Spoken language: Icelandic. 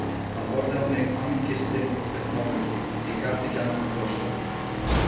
Hann horfði á mig, angistin uppmáluð, ég gat ekki annað en brosað.